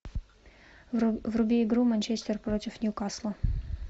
вруби игру манчестер против ньюкасла